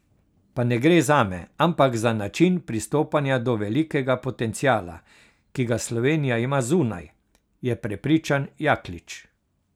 Pa ne gre zame, ampak za način pristopanja do velikega potenciala, ki ga Slovenija ima zunaj, je prepričan Jaklič.